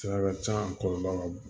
Sira ka ca a kɔlɔlɔ ka bon